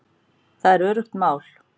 Það er öruggt mál